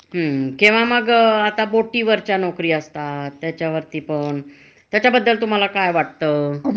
म्हणजे वर्षातले सहा महिनेच नोकरी. हा. आणि ते सहा महिने झाले, हं. की तुम्हाला घरी पाठवतात.